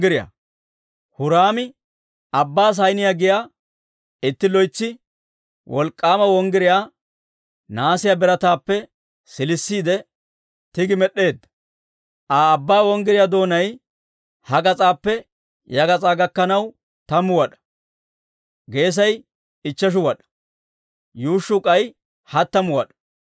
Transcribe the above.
Huraami Abbaa Saaniyaa giyaa itti loytsi wolk'k'aama wonggiryaa nahaasiyaa birataappe siilisiide tigi med'd'eedda. He Abbaa wonggiryaa doonay ha gas'aappe ya gas'aa gakkanaw tammu wad'aa; geesay ichcheshu wad'aa; yuushshuu k'ay hattamu wad'aa.